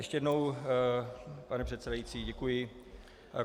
Ještě jednou, pane předsedající, děkuji.